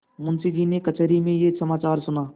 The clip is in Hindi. मुंशीजी ने कचहरी में यह समाचार सुना